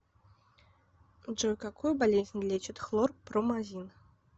джой какую болезнь лечит хлорпромазин